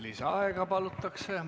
Lisaaega palutakse.